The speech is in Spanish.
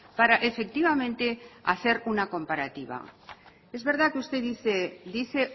para efectivamente hacer una comparativa es verdad que usted dice dice